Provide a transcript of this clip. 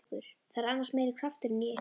Það er annars meiri krafturinn í ykkur.